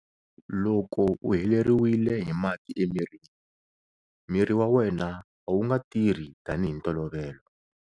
Loko u heleriwile hi mati emirini, miri wa wena a wu nga tirhi tanihi hi ntolovelo.